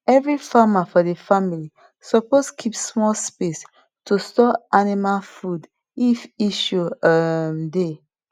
every farmer for the family suppose keep small space to store animal food if issue um dey